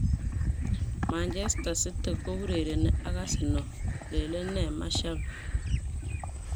Manchester City kourereni ak Arsenal, lelene shabik.